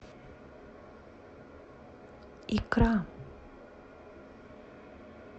икра